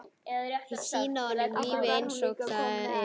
Sýna honum lífið einsog það er.